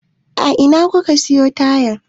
A ina kuka siyo tayan?